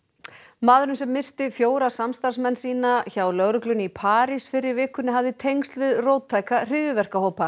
maðurinn sem myrti fjóra samstarfsmenn sína hjá lögreglunni í París fyrr í vikunni hafði tengsl við róttæka hryðjuverkahópa